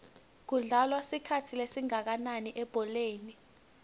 kudlalwa isikhathi esingakananilebholeni